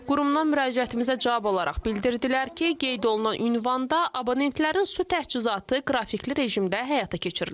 Qurumdan müraciətimizə cavab olaraq bildirdilər ki, qeyd olunan ünvanda abonentlərin su təchizatı qrafikli rejimdə həyata keçirilir.